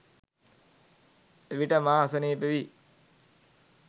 එවිට මා අසනීප වී